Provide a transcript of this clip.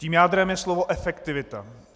Tím jádrem je slovo efektivita.